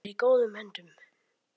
Þú ert algert öngvit!